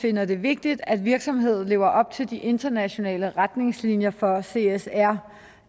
finder det vigtigt at virksomheder lever op til de internationale retningslinjer for csr